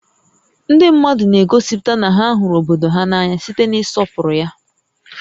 Ndị mmadụ na-egosipụta na ha hụrụ obodo há n'anya site n'ịsọpụrụ ya